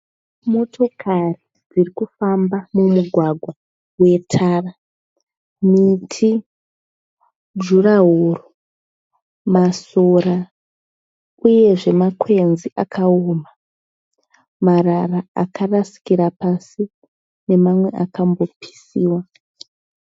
Motokari dziri kufamba mumugwagwa wetara. Muti ,jurahworo, masora uyezve makwenzi akaoma marara akarasikira pasi nemamwe akambopisiwa.